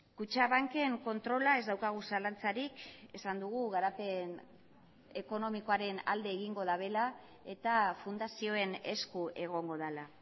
kutxabanken kontrola ez daukagu zalantzarik esan dugu garapen ekonomikoaren alde egingo dutela eta fundazioen esku egongo dela